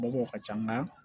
Mɔgɔw ka ca nka